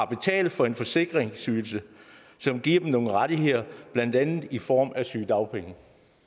betaler for en forsikringsydelse som giver dem nogle rettigheder blandt andet i form af sygedagpenge